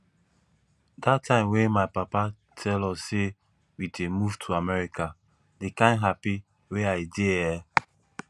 dat time when my papa tell us say we dey move to america the kyn happy wey i dey eh